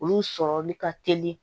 Olu sɔrɔli ka teli